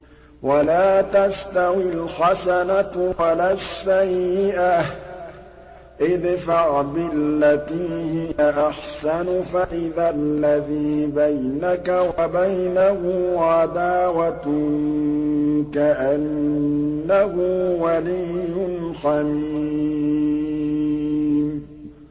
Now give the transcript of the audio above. وَلَا تَسْتَوِي الْحَسَنَةُ وَلَا السَّيِّئَةُ ۚ ادْفَعْ بِالَّتِي هِيَ أَحْسَنُ فَإِذَا الَّذِي بَيْنَكَ وَبَيْنَهُ عَدَاوَةٌ كَأَنَّهُ وَلِيٌّ حَمِيمٌ